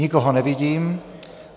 Nikoho nevidím.